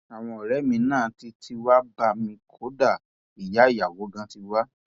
àwọn ọrẹ mi náà tí tí wàá bẹ mí kódà ìyá ìyàwó ganan ti wá